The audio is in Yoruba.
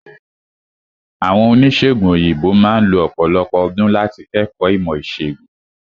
Àwọn Oníṣègùn òyìnbó máà lo ọ̀pọ̀lọpọ̀ ọdún láti kẹ́kọ̀ọ́ ìmọ̀ ìṣègùn.